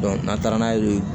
n'an taara n'a ye yen